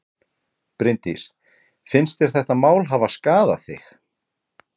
Bryndís: Finnst þér þetta mál hafa skaðað þig?